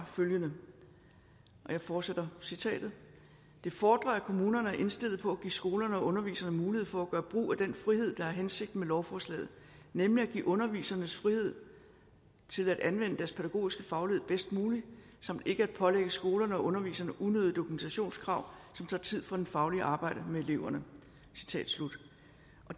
følgende og jeg fortsætter citatet det fordrer at kommunerne er indstillet på at give skolerne og underviserne mulighed for at gøre brug af den frihed der er hensigten med lovforslaget nemlig at give undervisernes frihed til at anvende deres pædagogiske faglighed bedst muligt samt ikke at pålægge skolerne og underviserne unødige dokumentationskrav som tager tid fra det faglige arbejde med eleverne